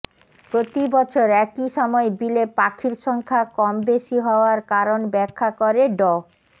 প্রতিবছর একই সময়ে বিলে পাখির সংখ্যা কম বেশি হওয়ার কারণ ব্যাখ্যা করে ড